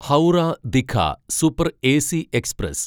Howrah Digha super AC express